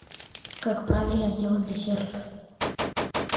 как правильно сделать десерт